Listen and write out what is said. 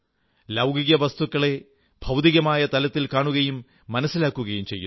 ലൌകിക വസ്തുക്കളെ ഭൌതികമായ തലത്തിൽ കാണുകയും മനസ്സിലാക്കുകയും ചെയ്യുന്നു